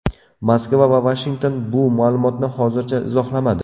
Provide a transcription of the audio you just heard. Moskva va Vashington bu ma’lumotni hozircha izohlamadi.